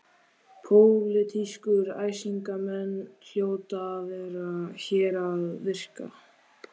Pólitískir æsingamenn hljóta að vera hér að verki.